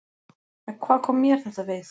En hvað kom mér þetta við?